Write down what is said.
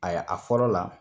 a fɔlɔ la